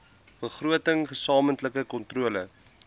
begroting gesamentlike kontrole